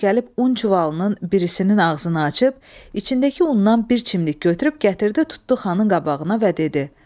Sonra gəlib un çuvalının birisinin ağzını açıb, içindəki undan bir çimlik götürüb gətirdi tutdu xanın qabağına və dedi: